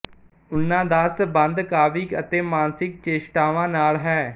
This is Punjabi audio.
ਉਨ੍ਹਾਂ ਦਾ ਸਬੰਧ ਕਾਵਿਕ ਅਤੇ ਮਾਨਸਿਕ ਚੇਸਟਾਵਾ ਨਾਲ ਹੈ